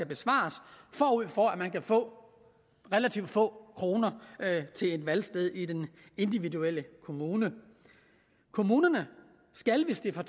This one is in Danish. besvares forud for at man kan få relativt få kroner til et valgsted i den individuelle kommune kommunerne skal hvis de får